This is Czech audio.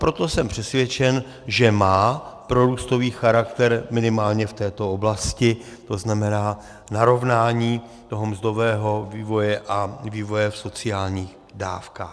Proto jsem přesvědčen, že má prorůstový charakter minimálně v této oblasti, to znamená narovnání toho mzdového vývoje a vývoje v sociálních dávkách.